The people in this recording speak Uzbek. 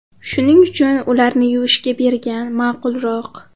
Shuning uchun ularni yuvishga bergan ma’qulroq.